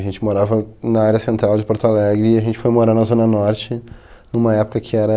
E a gente morava na área central de Porto Alegre, e a gente foi morar na Zona Norte, numa época que era...